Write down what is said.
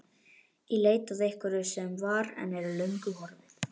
Í leit að einhverju sem var, en er löngu horfið.